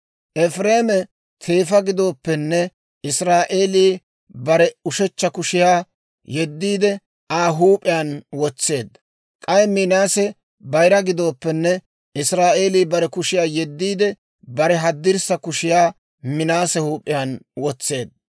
Efireeme teefa gidooppenne, Israa'eelii bare ushechcha kushiyaa yeddiide Aa huup'iyaan wotseedda; k'ay Minaase bayira gidooppenne, Israa'eelii bare kushiyaa yediidde, bare haddirssa kushiyaa Minaase huup'iyaan wotseedda.